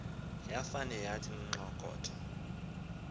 yafane yathi nxokotho